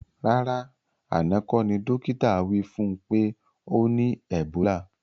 Rárá àná kọ́ ní dókítà wí fún pé ọ ní ẹ̀bólà